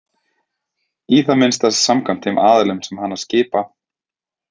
Í það minnsta samkvæmt þeim aðilum sem hana skipa.